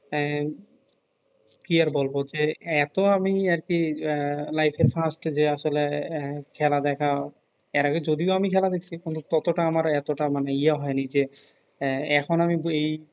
হ্যাঁ কি আর বলব যে এত আমি আর কি আহ life আসলে আহ খেলা দেখা এর আগে যদিও আমি খেলা দেখছি কিন্তু তত টা আমার এত টা ইয়া হয় নি যে এহ এখন আমি এই